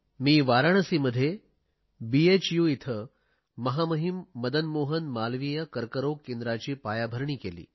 मी वाराणसीमध्ये भूBHUयेथे महामहिम मदन मोहन मालवीय कर्करोग केंद्राची पायाभरणी केली